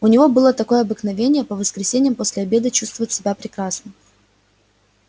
у него было такое обыкновение по воскресеньям после обеда чувствовать себя прекрасно